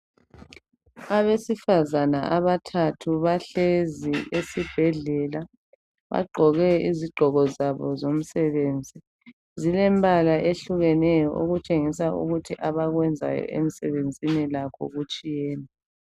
Abesifazana abathathu bahlezi esibhedlela. Bagqoke izigqoko zabo zomsebenzi, zilembala ehlukeneyo okutshengisa ukuthi abakwenzayo emsebenzini lakho kutshiyene.